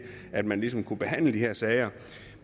at man ligesom kunne behandle de her sager